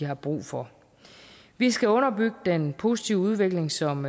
har brug for vi skal underbygge den positive udvikling som